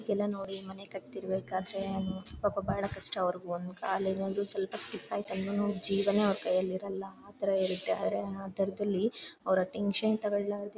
ಎಲ್ಲ ನೋಡಿ ಮನೆ ಕಟ್ತಾ ಇರ್ಬೇಕಾದ್ರೆ ಪಾಪ ಬಹಳ ಕಷ್ಟ ಅವ್ರುಗೂ ಒಂದ್ ಕಾಲ್ ಏನಾದ್ರು ಸ್ವಲ್ಪ ಸ್ಲಿಪ್ಪ್ ಆಯಿತು ಅಂದ್ರೂನು ಜೀವನೇ ಅವ್ರ್ ಕೈಯಲ್ಲಿ ಇರೋಲ್ಲ ಅತರ ಇರುತ್ತೆ ಅತರದಲ್ಲಿ ಅವ್ರು ಟೆನ್ಶನ್ ತೊಗೊಳ್ ಲಾರದೆ --